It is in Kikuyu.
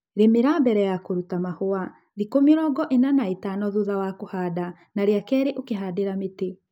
Rīmïra mbele ya kûruta mahûa(thiku mĩrongo ĩna na ĩtano thuta wa kûhanda ) na rīakeri ûkihandïra mïtï